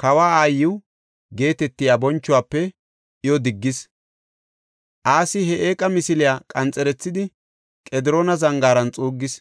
kawa aayiw geetetiya bonchuwafe iyo diggis. Asi he eeqa misiliya qanxerethidi Qediroona Zangaaran xuuggis.